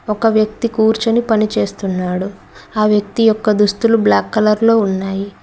ఒక వ్యక్తి కూర్చొని పని చేస్తున్నాడు ఆ వ్యక్తి యొక్క దుస్తులు బ్లాక్ కలర్ లో ఉన్నాయి.